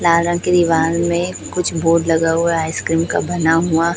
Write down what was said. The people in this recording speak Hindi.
लाल रंग की दिवाल में कुछ बोर्ड बना हुआ है आइसक्रीम का बना हुआ।